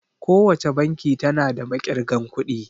Kowace banki tana da maƙirgan kuɗi